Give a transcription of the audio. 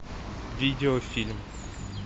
видеофильм